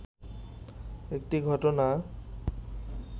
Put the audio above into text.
একটি ঘটনা